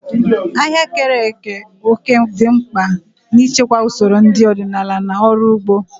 Ahịa keere òkè dị mkpa n'ichekwa usoro nri ọdịnala na ọrụ ugbo.